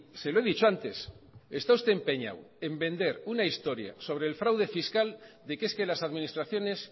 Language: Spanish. se lo he dicho antes está usted empeñado en vender una historia sobre el fraude fiscal de que es que las administraciones